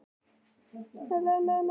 Díanna, hver syngur þetta lag?